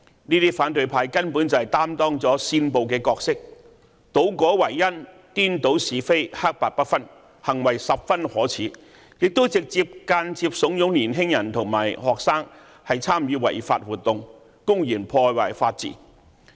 這些反對派根本就擔當了煽暴的角色，倒果為因、顛倒是非、黑白不分，行為十分可耻，亦直接、間接慫恿年輕人和學生參與違法活動，公然破壞法治。